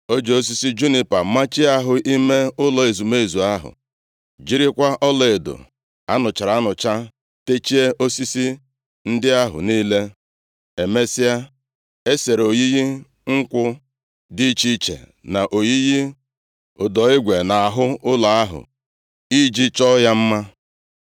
O ji osisi junipa machie ahụ ime ụlọ ezumezu ahụ, jirikwa ọlaedo a nụchara anụcha techie osisi ndị ahụ niile. Emesịa, e sere oyiyi nkwụ dị iche iche, na oyiyi ụdọ igwe nʼahụ ụlọ ahụ iji chọọ ya mma.